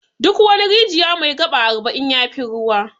Duk wani rijiya mai 'gaba' arba'in yafi ruwa.